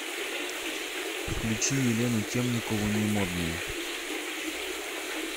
включи елену темникову не модные